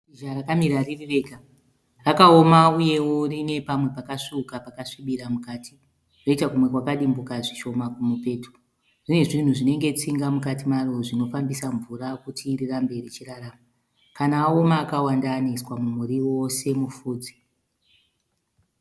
Shizha rakamira riri rega. Rakaoma uyewo rine pamwe pakasvuuka pakasvibira mukati roita kumwe kwakadimbuka zvishoma kumupeto. Rine zvinhu zvinenge tsinga mukati maro zvinofambisa mvura kuti rirambe richirarama. Kana aoma akawanda anoiswa mumuriwo semupfudze.